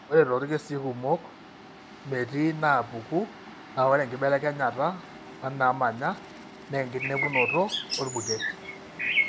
Ore toorkesii kumok, metii inaapuku naa ore enkibelekenyata ooneemanya naa enkinepunoto orbuket.